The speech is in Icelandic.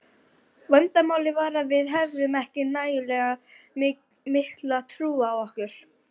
Vandamálið var að við höfðum ekki nægilega mikla trú á okkur.